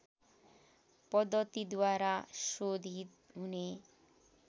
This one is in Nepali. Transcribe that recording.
पद्धतिद्वारा शोधित हुने